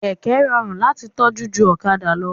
Kẹ̀kẹ́ rọrùn láti tọ́jú ju ọ̀kadà lọ